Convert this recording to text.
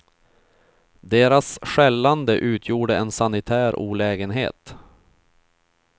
Deras skällande utgjorde en sanitär olägenhet.